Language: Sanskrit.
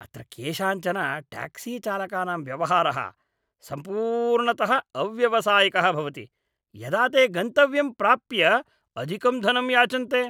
अत्र केषाञ्चन ट्याक्सीचालकानां व्यवहारः सम्पूर्णतः अव्यावसायिकः भवति, यदा ते गन्तव्यं प्राप्य अधिकं धनं याचन्ते।